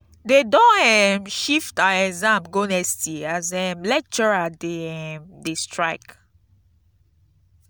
dem don um shift our exam go next year as um lecturer dem um dey strike.